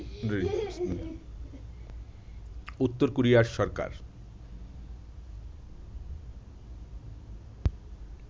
উত্তর কোরিয়ার সরকার